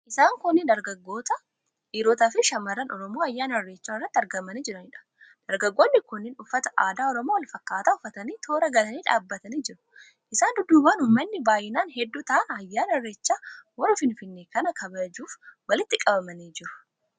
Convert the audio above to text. Isaan kunneen dargaggoota, dhiirotaafi shamarran Oromoo ayyaana Irreechaa irratti argamanii jiraniidha. Dargaggoonni kunneen uffata aadaa Oromoo wal fakkaataa uffatanii toora galanii dhaabbatanii jiru. Isaan dudduubaan uummatni baay'inaan hedduu ta'an ayyaana Irreecha hora Finfinnee kana kabajuuf walitti qabamanii jiru.